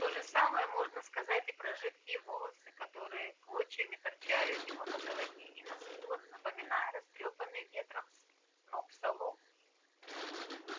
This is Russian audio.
то же самое можно сказать и про жидкие волосы которые клочьями торчали у него на голове и на скулах напоминая растрёпанный ветром сноп соломы